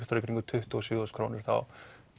í kringum tuttugu og sjö þúsund krónur þá